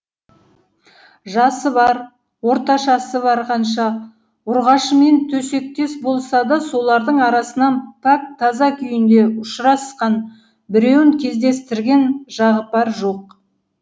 жасы бар орташасы бар қанша ұрғашымен төсектес болса да солардың арасынан пәк таза күйінде ұшырасқан біреуін кездестірген жағыпар жоқ